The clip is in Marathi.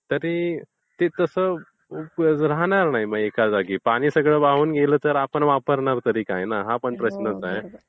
तरी ते तसं राहणार नाही एका जागी. पाणी सगळं वाहून जर गेलं तर आपण वापरणार तरी काय ना.